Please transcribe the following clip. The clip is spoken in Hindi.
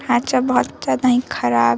ढांचा बहुत ज्यादा ही खराब --